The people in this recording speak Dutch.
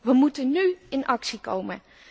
We moeten nu in actie komen.